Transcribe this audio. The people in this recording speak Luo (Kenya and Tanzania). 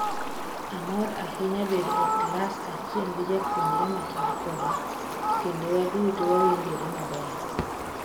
Amor ahinya bedo e klas achiel gi jopuonjre ma chal koda, kendo waduto wawinjore maber.